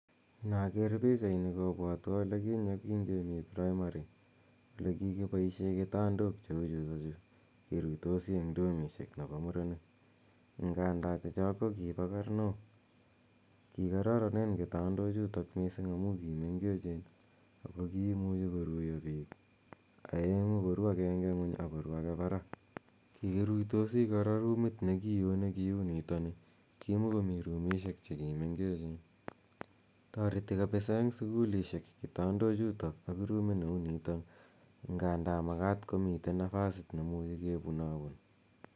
Inaker pichaini kopwatwan ole kinye kemi praimari ole kikipaishe kitandok cheu chutachu keruitosi eng' dorm chepo murenik. Nganda che chok ko kipa karnok. Kikararanen kitandochuto missing' amu ki mengechen ako kiimuchi kiruya piik aeng'u ,koru akenge parak, koru agenge ng'uny ako ru age parak. Kikiruitos kora rumit ne ki oo ne kiu nitani. Kimakomi rumishek che kimengechen. Tareti kapisa eng' sukulishek kitandchutok ak ruminitok nganda makat komi napasit ne muchi kepun apun.